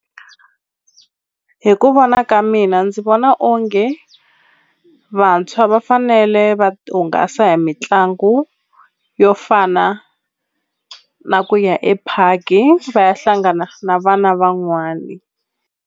Hi ku vona ka mina ndzi vona onge vantshwa va fanele va hungasa hi mitlangu yo fana na ku ya epark-i va ya hlangana na vana van'wani.